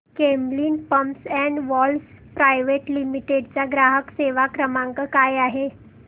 Camlin pumps and valves private limited चा ग्राहक सेवा क्रमांक काय आहे